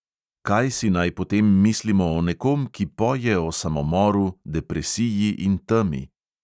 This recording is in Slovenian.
Kaj si naj potem mislimo o nekom, ki poje o samomoru, depresiji in temi?